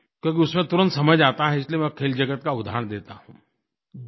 क्योंकि उसमें तुरंत समझ आता है इसलिए मैं खेल जगत का उदहारण देता हूँ